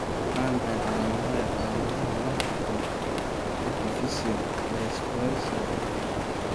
Waa maxay calaamadaha iyo calaamadaha Multiple epiphyseal dysplasika afar?